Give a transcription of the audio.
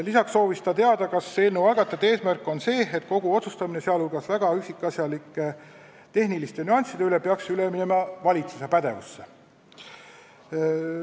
Lisaks soovis Ain Tatter teada, kas eelnõu algatajate eesmärk on see, et kogu otsustamine, sh väga üksikasjalike tehniliste nüansside üle peaks minema valitsuse pädevusse.